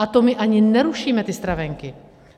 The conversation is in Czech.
A to my ani nerušíme ty stravenky.